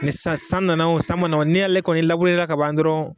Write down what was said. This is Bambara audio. Ni san san nana wo san ma na wo ni y'ale kɔni lablurela ka ban dɔrɔn